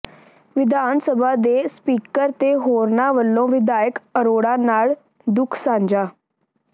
ਵਿਧਾਨ ਸਭਾ ਦੇ ਸਪੀਕਰ ਤੇ ਹੋਰਨਾਂ ਵਲੋਂ ਵਿਧਾਇਕ ਅਰੋੜਾ ਨਾਲ ਦੁੱਖ ਸਾਂਝਾ